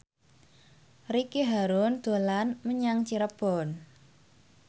Ricky Harun dolan menyang Cirebon